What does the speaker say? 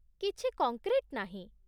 କିଛି କଙ୍କ୍ରିଟ୍ ନାହିଁ ।